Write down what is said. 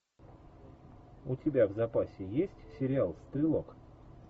у тебя в запасе есть сериал стрелок